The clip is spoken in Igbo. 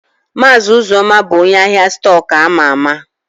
Maazi Uzoma bu onye ahia stọkụ ama ama.